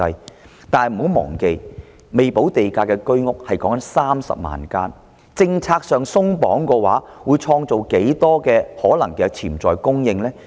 不過，大家不要忘記，還未補地價的居屋多達30萬間，政策上鬆綁的話會創造多少可能的潛在供應呢？